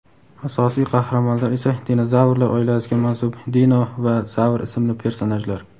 Asosiy qahramonlar esa dinozavrlar oilasiga mansub Dino va Zavr ismli personajlar.